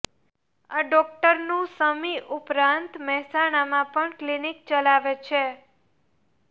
આ ડોક્ટરનું સમી ઉપરાંત મહેસાણામાં પણ ક્લીનીક ચલાવે છે